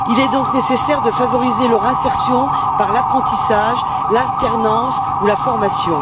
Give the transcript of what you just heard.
Il est nécessaire de favoriser leur insertion par l'apprentissage, l'alternance ou la formation.